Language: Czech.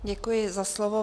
Děkuji za slovo.